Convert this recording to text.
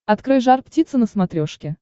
открой жар птица на смотрешке